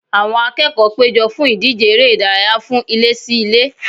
Àwọn akẹ́kọ̀ọ́ péjọ fún ìdíje eré ìdárayá fún ilé-sí-ilé